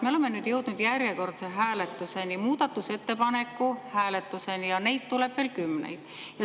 Me oleme nüüd jõudnud järjekordse hääletuseni, muudatusettepaneku hääletuseni, ja neid tuleb veel kümneid.